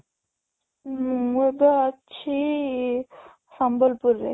ମୁଁ ଏବେ ଅଛି ସମ୍ବଲପୁର ରେ